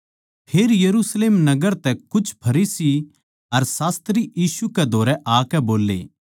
फेर यरुशलेम नगर तै कुछ फरीसी अर शास्त्री यीशु कै धोरै आकै बोल्ले